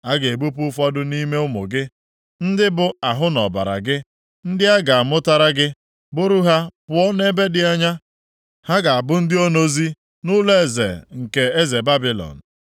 A ga-ebupụ ụfọdụ nʼime ụmụ gị, ndị bụ ahụ na ọbara gị, ndị a ga-amụtara gị, buru ha pụọ nʼebe dị anya, ha ga-abụ ndị onozi nʼụlọeze nke eze Babilọn.”